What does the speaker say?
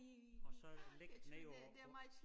Og så ligge nede på på